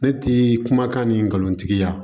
Ne ti kumakan ni nkalontigiya